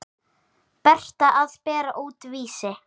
Berta að bera út Vísi.